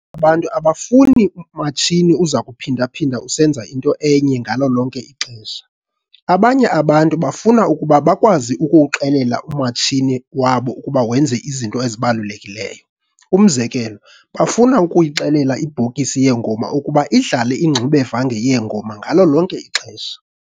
abantu abafuni matshini ozakuphinda-phinda usenza into enye ngalo lonke ixesha. Abanye abantu bafuna ukuba bakwazi ukuwuxelela umatshini wabo ukuba wenze izinto ezahlukileyo. Umzekelo, bafuna ukuyixelela ibhokisi yeengoma ukuba idlale ingxubevange yeengoma ngalo lonke ixesha.